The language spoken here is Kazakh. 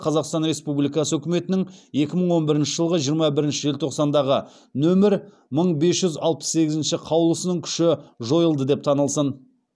қазақстан республикасы үкіметінің екі мың он бірінші жылғы жиырма бірінші желтоқсандағы нөмір мың бес жүз алпыс сегізінші қаулысының күші жойылды деп танылсын